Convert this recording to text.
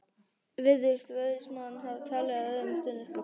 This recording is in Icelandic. Virðist ræðismaðurinn hafa talið, að öðrum stuðningsflokkum